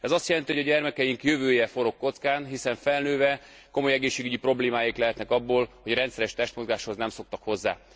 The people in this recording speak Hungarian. Ez azt jelenti, hogy a gyermekeink jövője forog kockán, hiszen felnőve komoly egészségügyi problémáik lehetnek abból, hogy a rendszeres testmozgáshoz nem szoktak hozzá.